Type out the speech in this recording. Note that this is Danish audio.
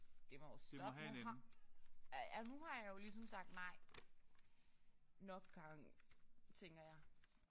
Det må jo stoppe nu har. Ja nu har jeg jo ligesom sagt nej nok gange tænker jeg